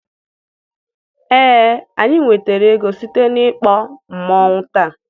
ee, anyị nwetara ego site na mkpọ masquerade taa